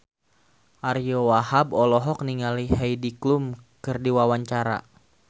Ariyo Wahab olohok ningali Heidi Klum keur diwawancara